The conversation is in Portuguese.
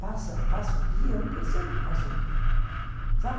Passa passa o dia, não percebo que passou o dia, sabe?